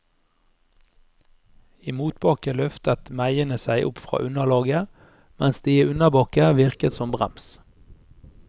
I motbakke løftet meiene seg opp fra underlaget, mens de i unnabakke virket som brems.